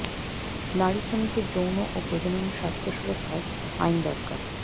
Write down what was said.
নারী শ্রমিকের যৌন ও প্রজনন স্বাস্থ্য সুরক্ষায় আইন দরকার